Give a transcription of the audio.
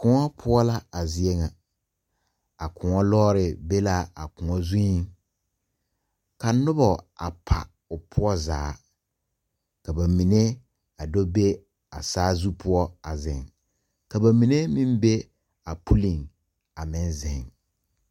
Koun puo la a zeɛ nga a koun loɔri be la a koun zung ka nuba a pa ɔ puo zaa ka ba mene a do be a saazu pou a zeng ka ba mene meng be a pulin a meng zeng.